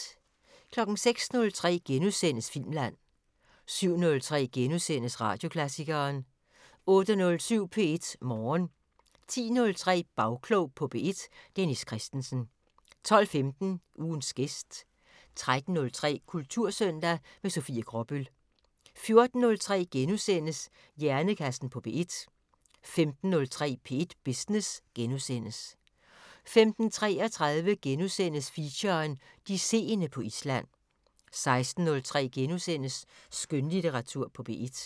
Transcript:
06:03: Filmland * 07:03: Radioklassikeren * 08:07: P1 Morgen 10:03: Bagklog på P1: Dennis Kristensen 12:15: Ugens gæst 13:03: Kultursøndag - med Sofie Gråbøl 14:03: Hjernekassen på P1 * 15:03: P1 Business * 15:33: Feature: De seende på Island * 16:03: Skønlitteratur på P1 *